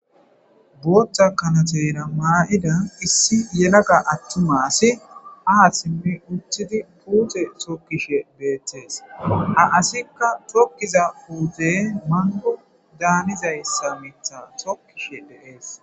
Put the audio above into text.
Botha kanatera maida issi yelaga atumma asi ha simi utidi pute tokishe betes ha asika tokiza pute mango danizayisa mitha tokishe des.